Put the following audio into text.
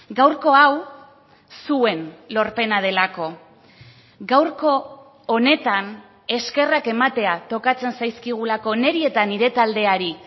gaurko hau zuen lorpena delako gaurko honetan eskerrak ematea tokatzen zaizkigulako niri eta nire taldeari